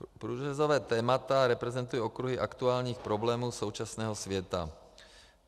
Průřezová témata reprezentují okruhy aktuálních problémů současného světa.